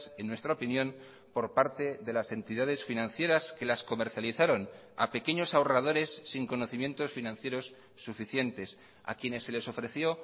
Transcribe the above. en nuestra opinión por parte de las entidades financieras que las comercializaron a pequeños ahorradores sin conocimientos financieros suficientes a quienes se les ofreció